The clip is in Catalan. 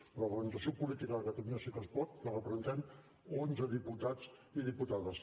però la representació política de catalunya sí que es pot la representem onze diputats i diputades